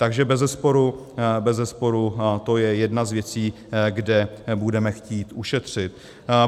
Takže bezesporu to je jedna z věcí, kde budeme chtít ušetřit.